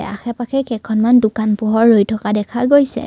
আশে পাশে কেখনমান দোকান পোহৰ ৰৈ থকা দেখা গৈছে।